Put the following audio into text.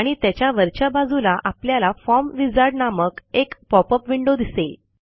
आणि त्याच्या वरच्या बाजूला आपल्याला फॉर्म विझार्ड नामक एक पॉपअप विंडो दिसेल